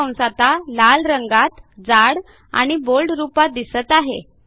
हा कंस आता लाल रंगात जाड आणि बोल्ड रूपात दिसत आहे